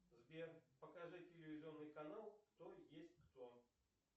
сбер покажи телевизионный канал кто есть кто